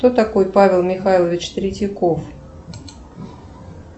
кто такой павел михайлович третьяков